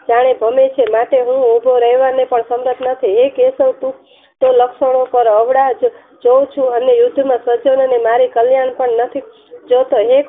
જાણે ધનુસ ને માથે હું હુભો રહેવા હું સંગત નથી હે કેશવ તું લખનો પર અવળા જોવ ચુ અને યુદ્ધ માં સજ્જન નો ને મારી કલ્યાણ પણ નથી જોતો હે કૃષ્ન